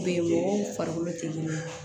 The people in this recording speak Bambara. mɔgɔw farikolo tɛ kelen ye